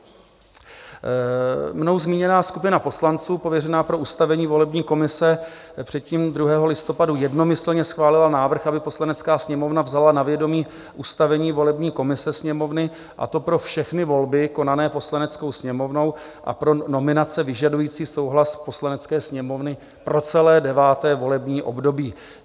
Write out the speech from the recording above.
Mnou zmíněná skupina poslanců pověřená pro ustavení volební komise předtím 2. listopadu jednomyslně schválila návrh, aby Poslanecká sněmovna vzala na vědomí ustavení volební komise Sněmovny, a to pro všechny volby konané Poslaneckou sněmovnou a pro nominace vyžadující souhlas Poslanecké sněmovny pro celé 9. volební období.